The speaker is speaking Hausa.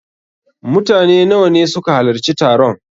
Mutane nawa ne suka halarci taron?